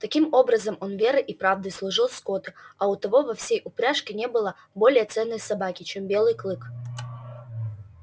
таким образом он верой и правдой служил скотту и у того во всей упряжке не было более ценной собаки чем белый клык